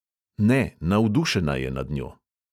Ne, navdušena je nad njo.